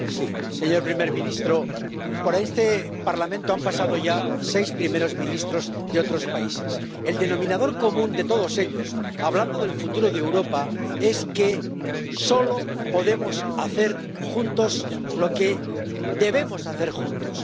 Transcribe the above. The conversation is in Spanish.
Señor presidente, señor primer ministro, por este Parlamento han pasado ya seis primeros ministros de otros países. El denominador común de todos ellos, al hablar del futuro de Europa, es que solo podemos hacer juntos lo que debemos hacer juntos.